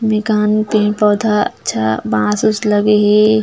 मेकान पेड़ - पौधा अच्छा बांस उन्स लगे हे।